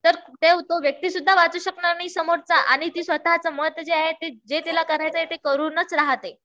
तर तो व्यक्ती सुद्धा वाचू शकणार नाही समोरचा. आणि ती स्वतःच मत जे आहे. जे तिला करायचंय ते करूनच राहते.